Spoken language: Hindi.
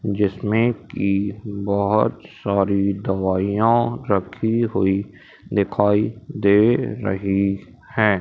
जिसमें कि बहोत सारी दवाइयां रखी हुई दिखाई दे रही हैं।